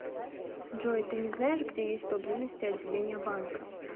джой ты не знаешь где есть поблизости отделение банка